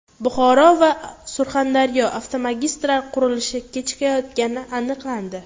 Buxoro va Surxondaryoda avtomagistral qurilishi kechikayotgani aniqlandi.